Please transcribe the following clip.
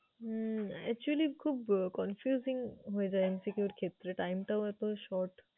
হম actually খুব confusing হয়ে যায় MCQ এর ক্ষেত্রে time টাও এতো short ।